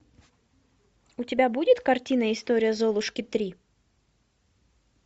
у тебя будет картина история золушки три